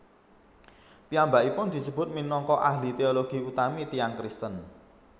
Piyambakipun disebut minangka Ahli teologi utami tiyang Kristen